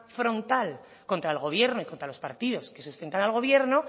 frontal contra el gobierno y contra los partidos que sustentan al gobierno